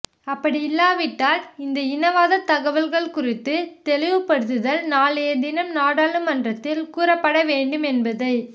அப்படியில்லாவிட்டால் இந்த இனவாத தகவல் குறித்து தெளிவுபடுத்தல் நாளைய தினம் நாடாளுமன்றத்தில் கூறப்பட வேண்டும் என்பதை